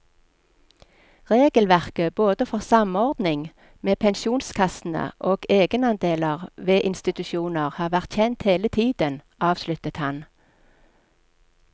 Regelverket både for samordning med pensjonskassene og egenandeler ved institusjoner har vært kjent hele tiden, avsluttet han.